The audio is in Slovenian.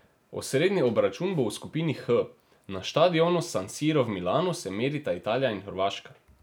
Osrednji obračun bo v skupini H, na štadionu San Siro v Milanu se merita Italija in Hrvaška.